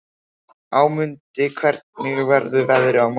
Ámundi, hvernig verður veðrið á morgun?